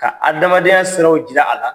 Ka adamadenya siraw jira a la.